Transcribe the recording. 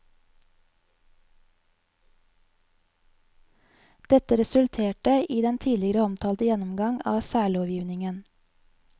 Dette resulterte i den tidligere omtalte gjennomgang av særlovgivningen.